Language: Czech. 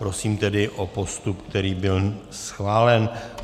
Prosím tedy o postup, který byl schválen.